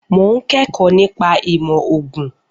Mo ń kẹ́kọ̀ọ́ nípa ìmọ̀ ògùn